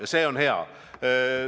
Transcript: Ja see on hea.